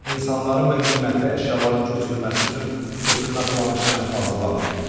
İnsanların və qiymətli əşyaların köçürülməsi üçün köçürmə planı işlənib hazırlanmayıb.